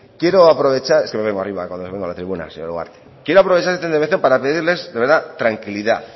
es que me vengo arriba cuando vengo a la tribuna quiero aprovechar esta intervención para pedirles de verdad tranquilidad